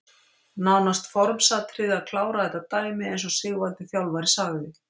Nánast formsatriði að klára þetta dæmi eins og Sigvaldi þjálfari sagði.